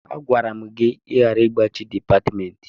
Agwara m gị ka ị ghara igbachi dipatịmentị.